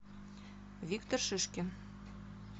виктор шишкин